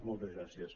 moltes gràcies